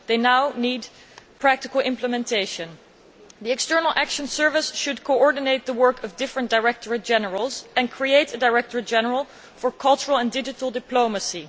They now need practical implementation. The External Action Service should coordinate the work of different Directorates General and create a Directorate General for cultural and digital diplomacy.